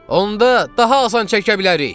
Onda daha asan çəkə bilərik!